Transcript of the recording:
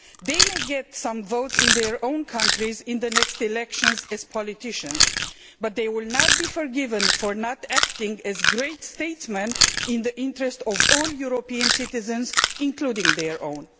They may get some votes in their own countries in the next elections as politicians, but they will not be forgiven for not acting as great statesmen in the interest of all European citizens, including their own.